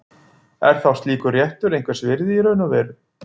Er þá slíkur réttur einhvers virði í raun og veru?